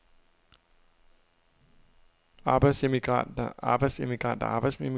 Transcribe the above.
arbejdsemigranter arbejdsemigranter arbejdsemigranter